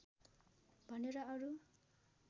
भनेर अरू